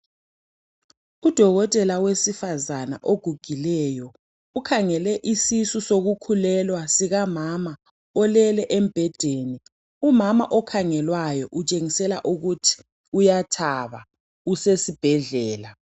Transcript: Udokotela wesifazana ogugileyo ukhangele isisu sokukhulelwa sikamama olele embhedeni. Umama okhangelwayo utshengisela ukuthi uyathaba usesibhedlela.